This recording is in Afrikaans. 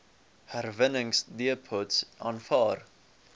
herwinningsdepots aanvaar